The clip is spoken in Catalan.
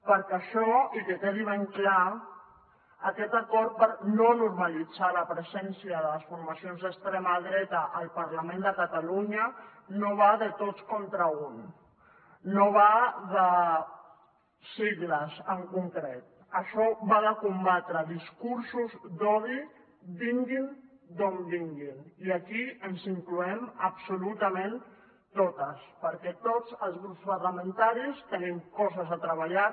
perquè això i que quedi ben clar aquest acord per no normalitzar la presència de les formacions d’extrema dreta al parlament de catalunya no va de tots contra un no va de sigles en concret això va de combatre discursos d’odi vinguin d’on vinguin i aquí ens incloem absolutament totes perquè tots els grups parlamentaris tenim coses a treballar